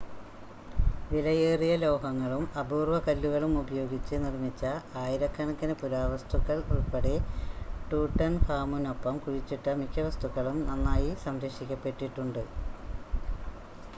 വിലയേറിയ ലോഹങ്ങളും അപൂർവ്വ കല്ലുകളും ഉപയോഗിച്ച് നിർമ്മിച്ച ആയിരക്കണക്കിന് പുരാവസ്തുക്കൾ ഉൾപ്പടെ ട്യൂട്ടൻഖാമുനൊപ്പം കുഴിച്ചിട്ട മിക്ക വസ്തുക്കളും നന്നായി സംരക്ഷിക്കപ്പെട്ടിട്ടുണ്ട്